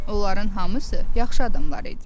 Onların hamısı yaxşı adamlar idi.